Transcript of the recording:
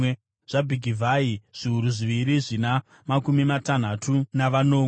zvaBhigivhai, zviuru zviviri zvina makumi matanhatu navanomwe;